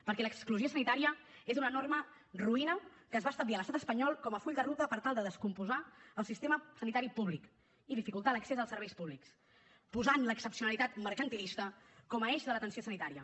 perquè l’exclusió sanitària és una enorme ruïna que es va establir a l’estat espanyol com a full de ruta per tal de descompondre el sistema sanitari públic i dificultar l’accés als serveis públics i per posar l’excepcionalitat mercantilista com a eix de l’atenció sanitària